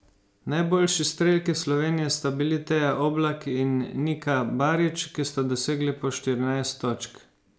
Najboljši strelki Slovenije sta bili Teja Oblak in Nika Barič, ki sta dosegli po štirinajst točk.